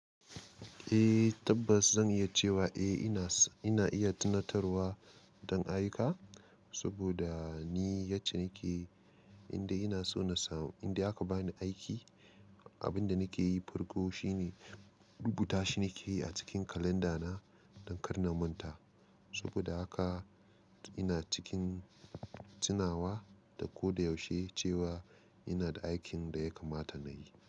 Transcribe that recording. Eh tabbas zan iya cewa eh ina, ina iya tunatarwa don ayyuka saboda ni yacce nake indai ina so na samu, indai aka bani aiki. Abin da nake yi farko shine rubuta shi nake yi a cikin kalanda na don karnaman ta. Saboda haka ina cikin tunawa da ko da yaushe cewa ina da aikin da ya kamata na yi.